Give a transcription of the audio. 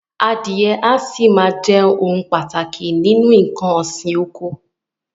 Adìẹ a sì máa ohun pàtàkì nínú nǹkan òsì oko.